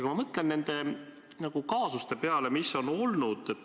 Ma mõtlen aga nende kaasuste peale, mis on olnud.